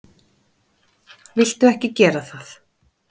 Viltu ekki gera það!